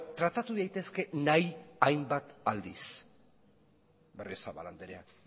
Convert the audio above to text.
tratatu daitezke nahi hainbat aldiz berriozabal andrea